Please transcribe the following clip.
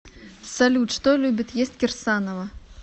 салют что любит есть кирсанова